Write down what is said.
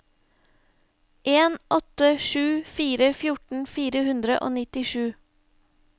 en åtte sju fire fjorten fire hundre og nittisju